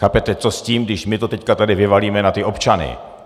Chápete, co s tím, když my to teď tady vyvalíme na ty občany?